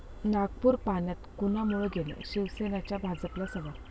नागपूर पाण्यात कुणामुळे गेलं? शिवसेनेचा भाजपला सवाल